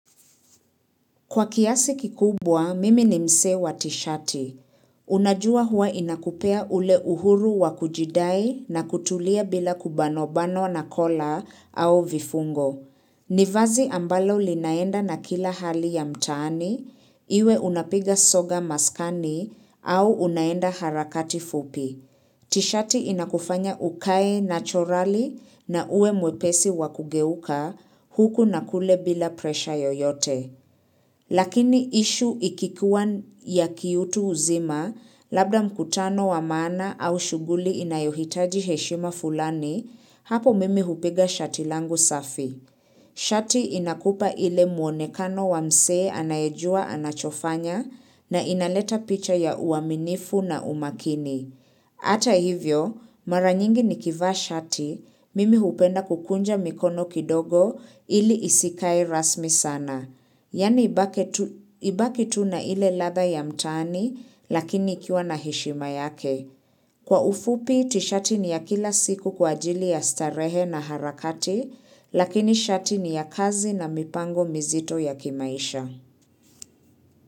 Kwa kiasi kikubwa, mimi ni mse wa tishati. Unajua hua inakupea ule uhuru wa kujidai na kutulia bila kubano-bano na kola au vifungo. Nivazi ambalo linaenda na kila hali ya mtaani, iwe unapiga soga maskani au unaenda harakati fupi. Tishati inakufanya ukae nachorali na uwe mwepesi wakugeuka huku na kule bila presha yoyote. Lakini ishu ikikuwa ya kiutu uzima, labda mkutano wa maana au shughuli inayohitaji heshima fulani, hapo mimi hupiga shati langu safi. Shati inakupa ile muonekano wa mse anayejua anachofanya na inaleta picha ya uaminifu na umakini. Ata hivyo, mara nyingi ni kivaa shati, mimi hupenda kukunja mikono kidogo ili isikae rasmi sana. Yani ibake tu ibaki tuna ile ladha ya mtaani lakini ikiwa na heshima yake. Kwa ufupi, tishati ni ya kila siku kwa ajili ya starehe na harakati lakini shati ni ya kazi na mipango mizito ya kimaisha.